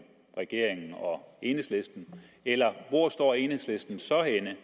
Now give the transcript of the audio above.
regeringen og enhedslisten eller hvor står enhedslisten så henne